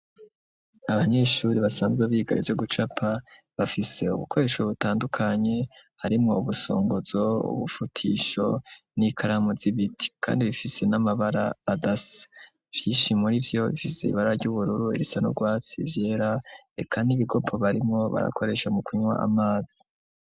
Abanyeshure basanzwe biga ivyo gucapa bafise ibikoresho bitandukanye harimwo ubusongozo, ubufutisho n'ikaramu zibiti kandi bifise n'amabara adasa, mvyinshi muri vyo bifise ibara ry'ubururu bisa n'urwatsi vyera reka n'ibigopo barimwo barakoresha mu kunywa amazi.